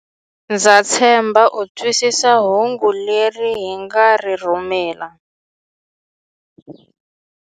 Ndza tshemba u twisisa hungu leri hi nga ri rhumela.